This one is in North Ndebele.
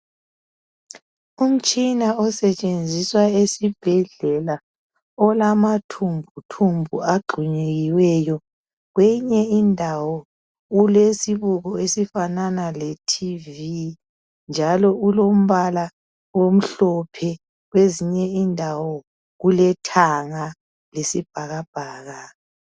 Umtshina osetshenziswa esibhedlela olamathumbuthumbu agxunyekiweyo kweyinye indawo ulesibuko esifanana leTV njalo ulombala omhlophe kuzinye indawo kulethanga lesibhakabhaka.